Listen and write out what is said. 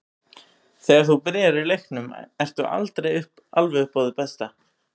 Þegar þú byrjar í leiknum ertu aldrei alveg upp á þitt besta.